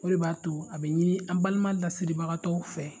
O de b'a to a bɛ ɲini an balima lasiribagatɔw fɛ